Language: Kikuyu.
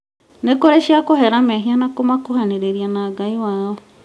nĩkũrĩ cia kũhera mehia na kũmakuhanĩrĩria na Ngai wao